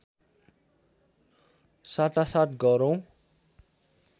साटासाट गरौँ